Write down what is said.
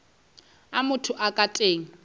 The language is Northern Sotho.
a motho a ka teng